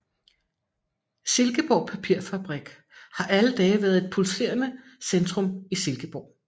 Silkeborg Papirfabrik har alle dage været et pulserende centrum i Silkeborg